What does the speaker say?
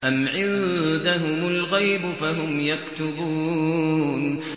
أَمْ عِندَهُمُ الْغَيْبُ فَهُمْ يَكْتُبُونَ